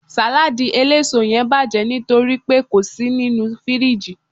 saladi eleso yen baje nitoripe ko si ninu firiji